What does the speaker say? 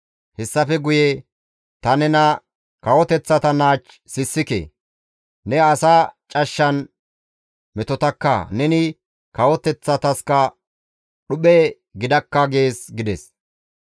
Hayssafe guye ta nena kawoteththata naach sissike; ne asa cashshan metotakka; neni kawoteththataskka dhuphe gidakka gees» gides.